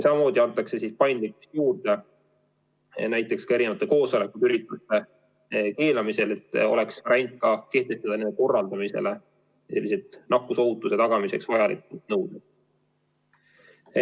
Samamoodi antakse paindlikkust juurde näiteks ka koosolekute ja muude ürituste keelamisel, et oleks võimalik kehtestada nende korraldamise kohta nakkusohutuse tagamiseks vajalikud nõuded.